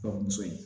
Kɔ muso ye